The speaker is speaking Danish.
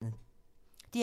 DR P2